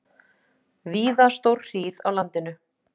Víða stórhríð á landinu